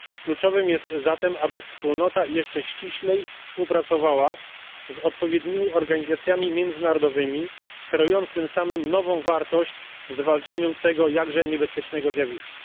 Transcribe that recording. Kluczowe jest zatem, aby Wspólnota jeszcze ściślej współpracowała z odpowiednimi organizacjami międzynarodowymi kreując tym samym nową wartość w zwalczaniu tego jakże niebezpiecznego zjawiska.